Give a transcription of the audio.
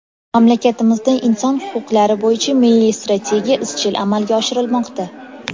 Mamlakatimizda Inson huquqlari bo‘yicha Milliy strategiya izchil amalga oshirilmoqda.